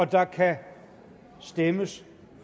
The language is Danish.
der kan stemmes